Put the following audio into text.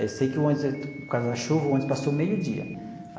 Aí sei que o ônibus, por causa da chuva, o ônibus passou meio dia.